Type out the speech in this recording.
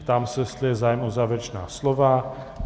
Ptám se, jestli je zájem o závěrečná slova.